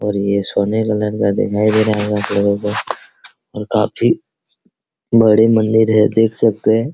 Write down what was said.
और ये सोने और काफी बड़े मंदिर है देख सकते हैं |